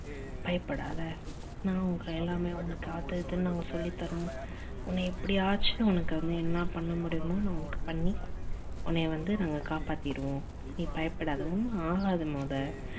பயப்படாத நான் உங்க எல்லாமே உனக்கு அது இதுன்னு நாங்க சொல்லி தரோம் உன்ன எப்படி ஆச்சு உனக்கு வந்து என்ன பண்ண முடியுமோ நான் உனக்கு பண்ணி உன்னை வந்து நாங்க காப்பாத்திருவோம். நீ பயப்படாத ஒன்னு ஆகாது மொத